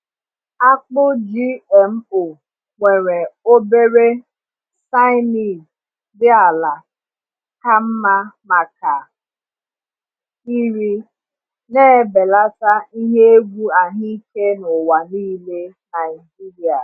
Akpụ GMO nwere obere cyanide dị ala ka mma maka iri, na-ebelata ihe egwu ahụike n’ụwa niile Naijiria.